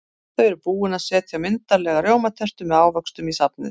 Þau eru búin að setja myndarlega rjómatertu með ávöxtum í safnið.